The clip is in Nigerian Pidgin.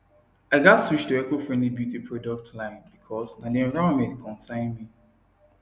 i gats switch to ecofriendly beauty products line bcause na the environment concern me